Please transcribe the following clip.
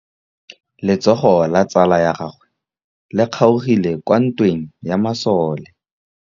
Letsôgô la tsala ya gagwe le kgaogile kwa ntweng ya masole.